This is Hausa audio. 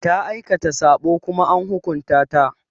Ta aikata saɓo Kuma an hukunta ta.